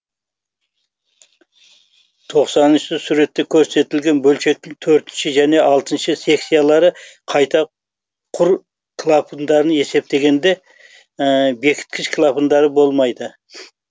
тоқсаныншы суретте көрсетілген бөлшектің төртінші және алтыншы секциялары қайта құр клапандан есептегенде бекіткіш клапандары болмайды